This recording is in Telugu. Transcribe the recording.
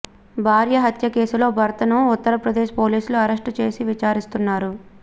భార్య హత్య కేసులో భర్తను ఉత్తరప్రదేశ్ పోలీసులు అరెస్టు చేసి విచారిస్తున్నారు